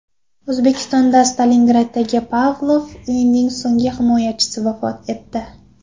O‘zbekistonda Stalingraddagi Pavlov uyining so‘nggi himoyachisi vafot etdi.